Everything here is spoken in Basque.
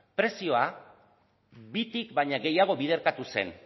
prezioa bitik baino gehiago biderkatu zen